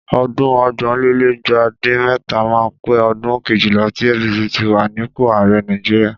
Ọdún ọgbọ̀nlélẹ́gbàá dín mẹ́ta máa pé ọdún kejìlá tí APC ti wà nípò ààrẹ Nàìjíríà.